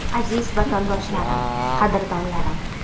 Aziz vatandoshlarim, qadrdonlarim!